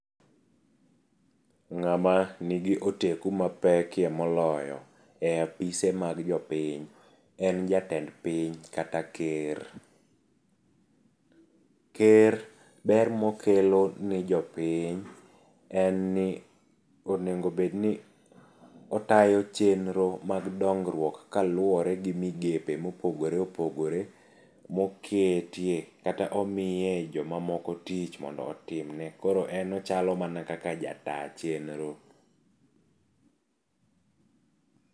Ng'ama nigi oteku mapekie moloyo e apise mag jopiny en jatend piny kata ker. Ker ber mokelo nijo piny en ni onego bedni otayo chenro mag dongruok kaluwore gi migepe mopogore opogore moketie kata omiye joma moko tich mondo otimne koro en ochalo mana kaka jata tich.